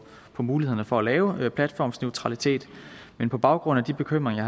mulighederne for at lave platformsneutralitet men på baggrund af de bekymringer